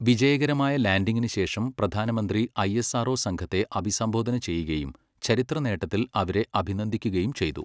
വിജയകരമായ ലാൻഡിങ്ങിന് ശേഷം പ്രധാനമന്ത്രി ഐഎസ്ആർഓ സംഘത്തെ അഭിസംബോധന ചെയ്യുകയും, ചരിത്ര നേട്ടത്തിൽ അവരെ അഭിനന്ദിക്കുകയും ചെയ്തു.